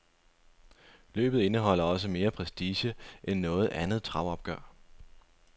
Løbet indeholder også mere prestige end noget andet travopgør.